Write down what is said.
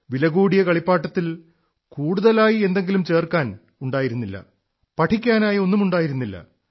വിലകൂടിയ കളിപ്പാട്ടത്തിൽ കൂടുതലായി എന്തെങ്കിലും ചേർക്കാനുണ്ടായിരുന്നില്ല പഠിക്കാനായി ഒന്നുമുണ്ടായിരുന്നില്ല